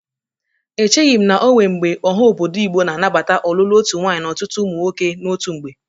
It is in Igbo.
Echighi m na onwe mgbe ọha obodo Igbo ga-anabata ọlụlụ otu nwaanyị na ọtụtụ ụmụ nwoke n'otu mgbe.